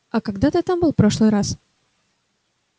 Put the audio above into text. а когда ты там был в прошлый раз